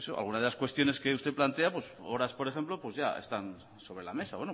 algunas de las cuestiones que usted plantea horas por ejemplo ya están sobre la mesa